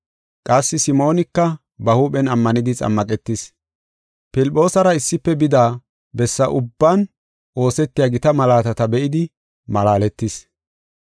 Qassi Simoonika ba huuphen ammanidi xammaqetis. Filphoosara issife bida bessa ubban oosetiya gita malaatata be7idi malaaletis.